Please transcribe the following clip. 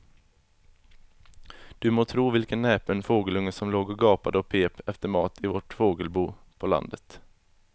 Du må tro vilken näpen fågelunge som låg och gapade och pep efter mat i vårt fågelbo på landet.